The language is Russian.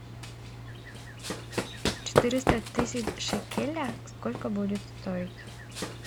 четыреста тысяч шекелей сколько будет стоить